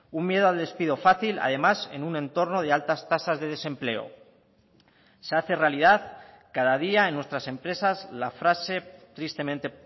un miedo al despido fácil además en un entorno de altas tasas de desempleo se hace realidad cada día en nuestras empresas la frase tristemente